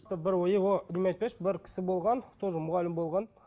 бір кісі болған тоже мұғалім болған